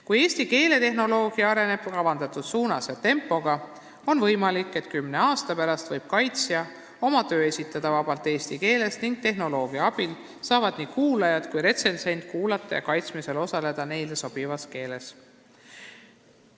Kui eesti keeletehnoloogia areneb kavandatud suunas ja tempoga, on võimalik, et kümne aasta pärast võib kaitsja oma töö esitada vabalt eesti keeles ning tehnoloogia abil saavad nii kuulajad kui ka retsensent kasutada neile sobivat keelt.